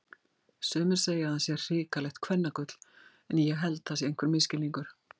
Sumir segja að hann sé hrikalegt kvennagull en ég held það sé einhver misskilningur.